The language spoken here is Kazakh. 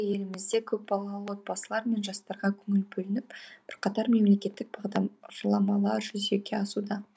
елімізде көпбалалы отбасылар мен жастарға көңіл бөлініп бірқатар мемлекеттік бағдарламалар жүзеге асуда